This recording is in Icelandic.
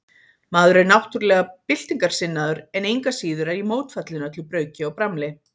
Maður er náttúrlega byltingarsinnaður, en engu að síður er ég mótfallinn öllu brauki og bramli.